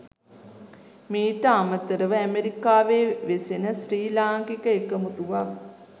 මීට අමතරව ඇමෙරිකාවේ වෙසෙන ශ්‍රී ලාංකික එකමුතුවක්